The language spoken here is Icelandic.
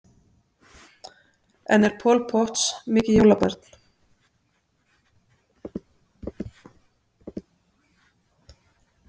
En er Paul Potts mikið jólabarn?